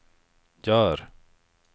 gör